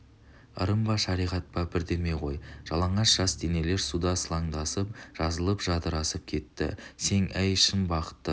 ырым ба шариғат па бірдеме ғой жалаңаш жас денелер суда сылаңдасып жазылып жадырасып кетті сең әй шын бақытты